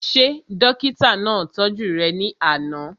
Ṣé dókítà náà tọ́jú rẹ̀ ní àná?